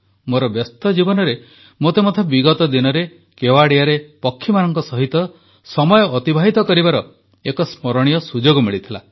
ମୋର ବ୍ୟସ୍ତ ଜୀବନରେ ମୋତେ ମଧ୍ୟ ବିଗତ ଦିନରେ କେୱଡିଆରେ ପକ୍ଷୀମାନଙ୍କ ସହିତ ସମୟ ଅତିବାହିତ କରିବାର ଏକ ସ୍ମରଣୀୟ ସୁଯୋଗ ମିଳିଥିଲା